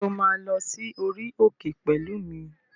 Ṣé o máa lọ sí orí òkè pẹ̀lú mi?